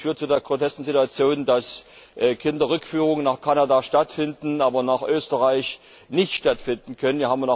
Das führt zu der grotesken Situation, dass Kinderrückführungen nach Kanada stattfinden, aber nach Österreich nicht stattfinden können.